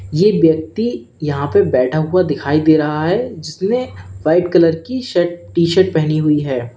ये व्यक्ति यहां पे बैठा हुआ दिखाई दे रहा है उसने व्हाइट कलर की शर्ट टी शर्ट पहनी हुई है।